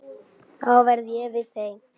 Þá verð ég við þeim.